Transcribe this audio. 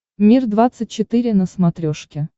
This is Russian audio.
мир двадцать четыре на смотрешке